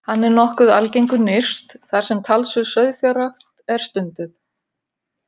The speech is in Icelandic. Hann er nokkuð algengur nyrst þar sem talsverð sauðfjárrækt er stunduð.